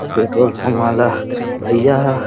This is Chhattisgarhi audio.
पेट्रोल पम्प वाला भैय्या ह।